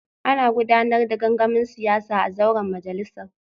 Ana gudanar da gangamin siyasa a zauren majalisar